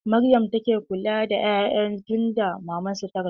Maryama take kula da 'ya'yan tunda maman su ta rasu.